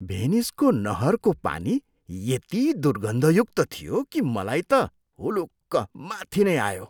भेनिसको नहरको पानी यति दुर्घन्धयुक्त थियो कि मलाई त हुलुक्क माथि नै आयो।